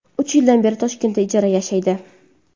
Uch yildan beri Toshkentda ijara yashaydi.